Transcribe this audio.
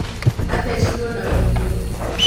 athecirwo na kahiũ